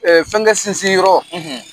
fɛnkɛ sinsin yɔrɔ,